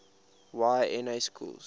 y na schools